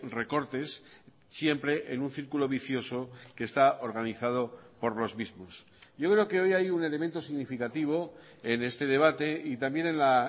recortes siempre en un círculo vicioso que está organizado por los mismos yo creo que hoy hay un elemento significativo en este debate y también en la